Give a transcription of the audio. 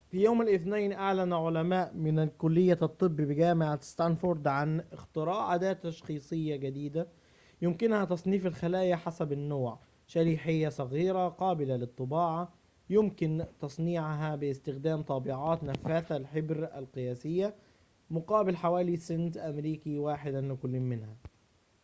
في يوم الاثنين أعلن علماء من كلية الطب بجامعة ستانفورد عن اختراع أداة تشخيصية جديدة يمكنها تصنيف الخلايا حسب النوع شريحة صغيرة قابلة للطباعة يمكن تصنيعها باستخدام طابعات نفاثة للحبر قياسية مقابل حوالي سنت أمريكي واحد لكل منها